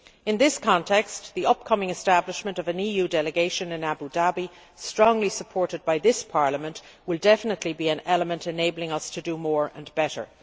In this context, the upcoming establishment of an EU delegation in Abu Dhabi, strongly supported by this Parliament, will definitely be an element enabling us to do more and better.